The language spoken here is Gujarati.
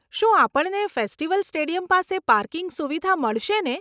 શું આપણને ફેસ્ટિવલ સ્ટેડિયમ પાસે પાર્કિંગ સુવિધા મળશેને?